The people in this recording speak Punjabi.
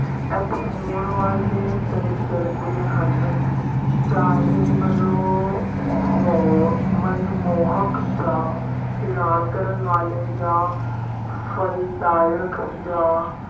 ਇੱਥੇ ਹੋਣ ਵਾਲੇ ਤਜ਼ਰਬੇ ਹਨ ਚਾਹੇ ਮਨੋ ਹੋ ਮਨਮੋਹਕ ਜਾਂ ਹੈਰਾਨ ਕਰਨ ਵਾਲੇ ਜਾਂ ਫਲ-ਦਾਇਕ ਜਾਂ